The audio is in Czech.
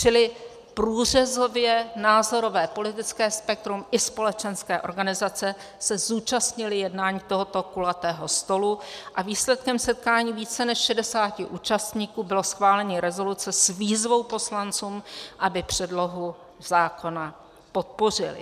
Čili průřezové názorové politické spektrum i společenské organizace se zúčastnily jednání tohoto kulatého stolu a výsledkem setkání více než 60 účastníků bylo schválení rezoluce s výzvou poslancům, aby předlohu zákona podpořili.